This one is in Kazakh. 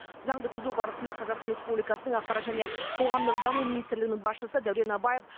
заңды түзу барысында қазақстан республикасының ақпарат және қоғамдық даму министрлігінің басшысы дәурен абаев